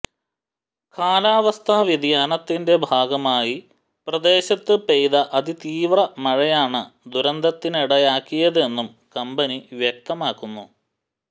കാലാവസ്ഥാ വ്യതിയാനത്തിന്റെ ഭാഗമായി പ്രദേശത്ത് പെയ്ത അതിതീവ്ര മഴയാണ് ദുരന്തത്തിനിടയാക്കിയതെന്നും കമ്പനി വ്യക്തമാക്കുന്നു